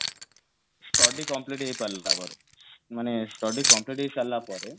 study complete ହେଇସାରିଲା ପରେ ମାନେ study complete ହେଇସାରିଲା ପରେ